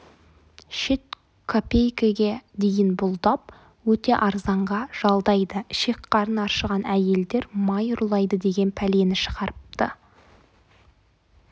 шет копейкеге дейін бұлдап өте арзанға жалдайды ішек-қарын аршыған әйелдер май ұрлайды деген пәлені шығарыпты